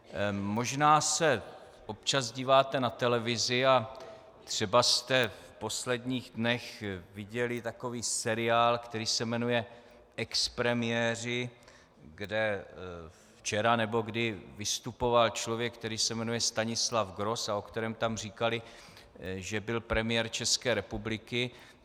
Možná se občas díváte na televizi a třeba jste v posledních dnech viděli takový seriál, který se jmenuje Expremiéři, kde včera nebo kdy vystupoval člověk, který se jmenuje Stanislav Gross a o kterém tam říkali, že byl premiér České republiky.